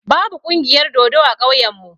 Ba bu ƙungiyar dodo a ƙauyen mu.